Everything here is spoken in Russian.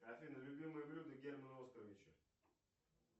афина любимое блюдо германа оскаровича